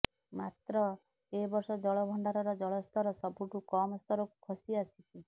ମାତ୍ର ଏବର୍ଷ ଜଳଭଣ୍ଡାରର ଜଳସ୍ତର ସବୁଠୁ କମ୍ ସ୍ତରକୁ ଖସିଆସିଛି